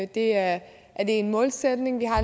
det er en målsætning vi har